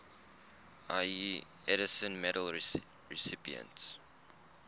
ieee edison medal recipients